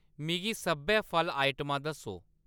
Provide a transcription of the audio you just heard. मिगी सब्भै फल आइटमां दस्सो